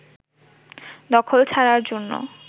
দখল ছাড়ার জন্য